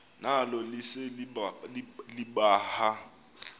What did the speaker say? nalo lise libaha